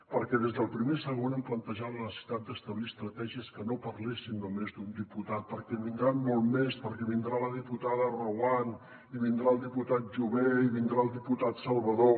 perquè des del primer segon hem plantejat la necessitat d’establir estratègies que no parlessin només d’un diputat perquè en vindran molts més perquè vindrà la diputada reguant i vindrà el diputat jové i vindrà el diputat salvadó